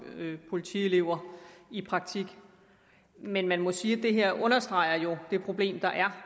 politielever i praktik men man må sige at det her jo understreger det problem der er